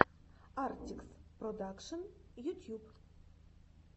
артикс продакшн ютьюб